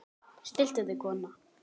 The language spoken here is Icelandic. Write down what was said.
Stilltu þig kona!